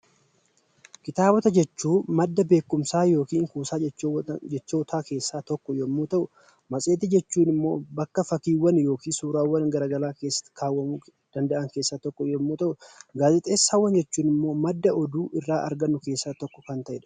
Kitaabota jechuun madda beekumsaa yookiin kuusaa jechootaa keessaa tokko yommuu ta'u, matseetii jechuun immoo bakka fakkiiwwan yookiin immoo suuraawwan gara garaa keessa kaawwamuu danda'an keessaa tokko yommuu ta'u, gaazexeessaawwan jechuun immoo madda odeeffannoo oduu irraa argannu keessaa tokko kan ta'edha.